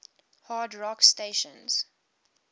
hard rock stations